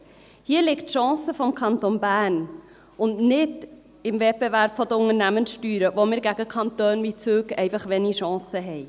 Hier liegt die Chance für den Kanton Bern und nicht im Wettbewerb der Unternehmenssteuern, wo wir gegen Kantone wie Zug einfach wenig Chance haben.